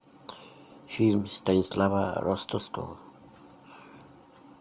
фильм станислава ростоцкого